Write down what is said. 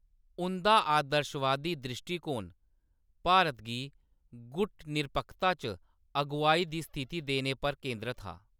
उंʼदा आदर्शवादी द्रिश्टीकोण भारत गी गुट निरपक्खता च अगुआई दी स्थिति देने पर केंद्रत हा।